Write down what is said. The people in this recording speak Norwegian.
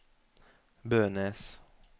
Bønes